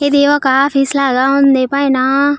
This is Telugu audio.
ఇది ఒక ఆఫీస్ లాగా ఉంది పైన.